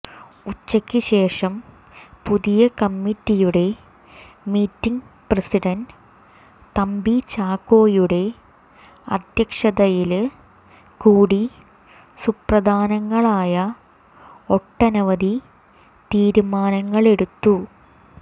ഉച്ചയ്ക്ക് ശേഷം പുതിയ കമ്മിറ്റിയുടെ മീറ്റിംഗ് പ്രസിഡന്റ് തമ്പി ചാക്കോയുടെ അദ്ധ്യക്ഷതയില് കൂടി സുപ്രധാനങ്ങളായ ഒട്ടനവധി തീരുമാനങ്ങളെടുത്തു